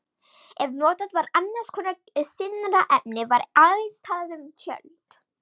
Ef notað var annars konar þynnra efni var aðeins talað um tjöld.